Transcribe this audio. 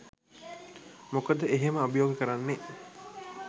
මොකද එහෙම අභියෝග කරන්නේ